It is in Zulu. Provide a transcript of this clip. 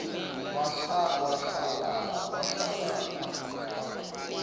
wahlalala paqu paqu